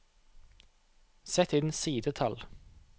Sett inn sidetall